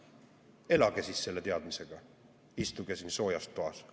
Elage siis selle teadmisega, istuge siin soojas toas!